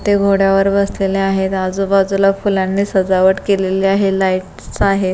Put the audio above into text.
ते घोड्यावर बसलेले आहेत. आजूबाजूला फूलांनी सजावट केलेले आहे लाइटस आहे.